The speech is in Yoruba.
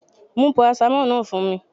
Mú paracetamol náà fún mi